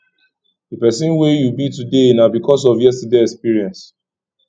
di person wey yu be today na bikos of yestaday experience